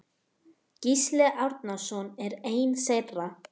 Gísli Árnason er einn þeirra.